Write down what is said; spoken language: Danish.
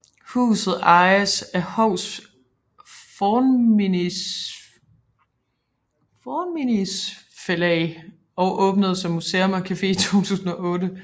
Huset ejes af Hovs Fornminnisfelag og åbnede som museum og café i 2008